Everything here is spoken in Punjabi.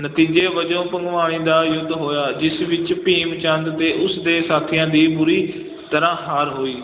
ਨਤੀਜੇ ਵਜੋਂ ਭੰਗਾਣੀ ਦਾ ਯੁੱਧ ਹੋਇਆ ਜਿਸ ਵਿੱਚ ਭੀਮ ਚੰਦ ਤੇ ਉਸਦੇ ਸਾਥੀਆਂ ਦੀ ਬੁਰੀ ਤਰ੍ਹਾਂ ਹਾਰ ਹੋਈ